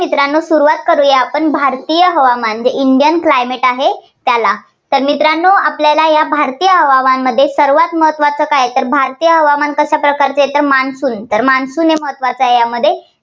मित्रांनो सुरुवात करुया आपण भारतीय हवामान. जे Indian climate आहे, त्याला. तर मित्रांनो आपल्याला या भारतीय हवामानमध्ये सर्वांत महत्त्वाचे काय तर भारतीय हवामान कशा प्रकारचं आहे, तर monsoon हे महत्त्वाचं आहे, यामध्ये